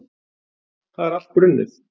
Það er allt brunnið.